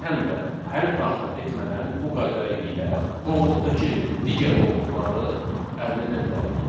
Biz həm də hərf daxil etmədən bu qayda ilə qovluqdakı digər qovluqları əldə edə bilərik.